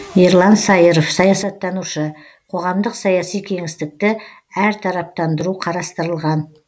ерлан саиров саясаттанушы қоғамдық саяси кеңістікті әртараптандыру қарастылған